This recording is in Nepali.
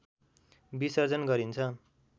विसर्जन गरिन्छ